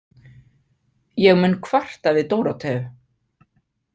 Ég mun kvarta við Dóróteu.